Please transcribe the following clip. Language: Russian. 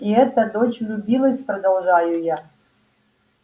и эта дочь влюбилась продолжаю я